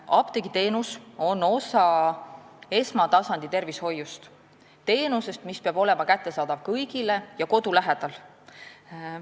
Apteegiteenus on osa esmatasandi tervishoiust – teenusest, mis peab olema kättesaadav kõigile ja kodu lähedal.